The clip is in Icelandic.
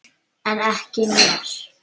En ekki mér.